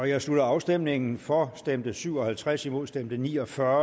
jeg slutter afstemningen for stemte syv og halvtreds imod stemte ni og fyrre